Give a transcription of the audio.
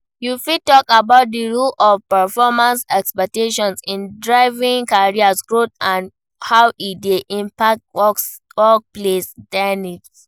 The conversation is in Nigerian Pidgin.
You fit talk about di role of performance expectations in driving career growth and how e dey impact workplace dynamics.